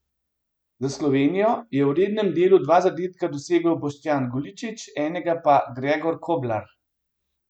Za Slovenijo je v rednem delu dva zadetka dosegel Boštjan Goličič, enega pa Gregor Koblar.